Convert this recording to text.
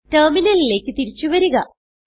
ടെർമിനലിലേക്ക് തിരിച്ചു വരിക